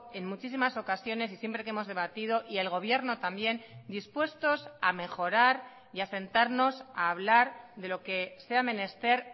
en muchísimas ocasiones y siempre que hemos debatido y el gobierno también dispuestos a mejorar y a sentarnos a hablar de lo que sea menester